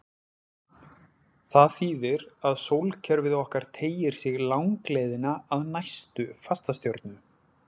Það þýðir að sólkerfið okkar teygir sig langleiðina að næstu fastastjörnu.